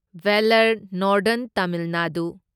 Vellore northern Tamil Nadu